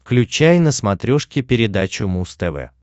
включай на смотрешке передачу муз тв